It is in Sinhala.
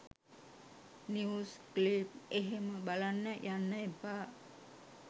නිවුස් ක්ලිප් එහෙම බලන්න යන්න එපා.